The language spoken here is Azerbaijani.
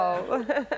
Vaau.